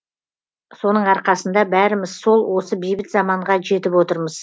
соның арқасында бәріміз сол осы бейбіт заманға жетіп отырмыз